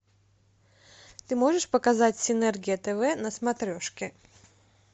ты можешь показать синергия тв на смотрешке